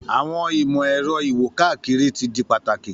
Àwọn ìmò-èro iwo-kakiri ti di pataki